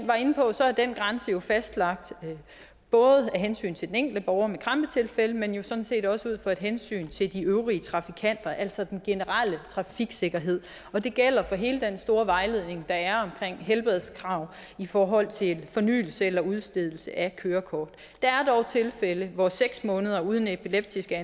var inde på er den grænse jo fastlagt både af hensyn til den enkelte borger med krampetilfælde men jo sådan set også ud fra et hensyn til de øvrige trafikanter altså den generelle trafiksikkerhed og det gælder for hele den store vejledning der er omkring helbredskrav i forhold til fornyelse eller udstedelse af kørekort der er dog tilfælde hvor seks måneder uden epileptiske